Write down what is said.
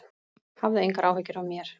Hafðu engar áhyggjur af mér